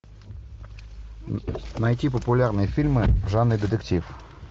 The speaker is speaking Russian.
найти популярные фильмы в жанре детектив